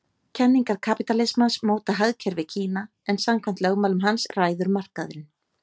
Kenningar kapítalismans móta hagkerfi Kína en samkvæmt lögmálum hans ræður markaðurinn.